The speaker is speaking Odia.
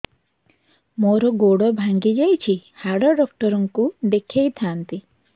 ମୋର ଗୋଡ ଭାଙ୍ଗି ଯାଇଛି ହାଡ ଡକ୍ଟର ଙ୍କୁ ଦେଖେଇ ଥାନ୍ତି